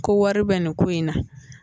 Ko wari bɛ nin ko in na